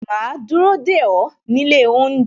Ma dúró dè ó nílé oúnjẹ